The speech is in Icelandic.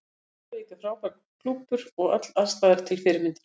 Grindavík er frábær klúbbur og öll aðstaða er til fyrirmyndar.